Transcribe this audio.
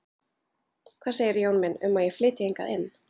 Hvað segirðu, Jón minn, um að ég flytji hingað inn